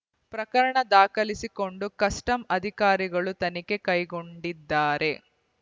ಪ್ರಕರಣ ದಾಖಲಿಸಿಕೊಂಡು ಕಸ್ಟಮ್ಸ್ ಅಧಿಕಾರಿಗಳು ತನಿಖೆ ಕೈಗೊಂಡಿದ್ದಾರೆ